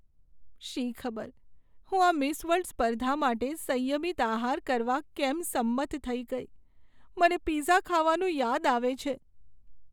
શી ખબર હું આ મિસ વર્લ્ડ સ્પર્ધા માટે સંયમિત આહાર કરવા કેમ સંમત થઈ ગઈ. મને પિઝા ખાવાનું યાદ આવે છે.